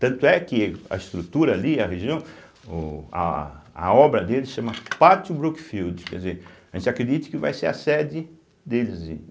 Tanto é que a estrutura ali, a região, o a a obra deles se chama Pátio Brookfield, quer dizer, a gente acredita que vai ser a sede deles.